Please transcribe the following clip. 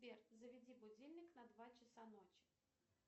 сбер заведи будильник на два часа ночи